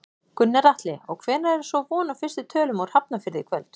Gunnar Atli: Og hvenær er svo von á fyrstu tölum úr Hafnarfirði í kvöld?